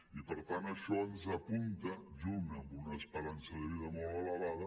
i per tant això ens apunta junt amb una esperança de vida molt elevada